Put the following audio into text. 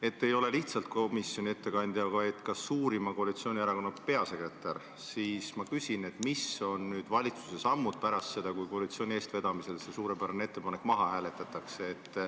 Et te ei ole lihtsalt komisjoni ettekandja, vaid ka suurima koalitsioonierakonna peasekretär, siis ma küsin, mis on valitsuse sammud pärast seda, kui koalitsiooni eestvedamisel see suurepärane ettepanek maha hääletatakse.